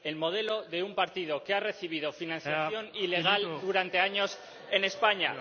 El modelo de un partido que ha recibido financiación ilegal durante años en España.